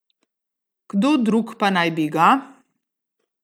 Kdo drug pa naj bi ga?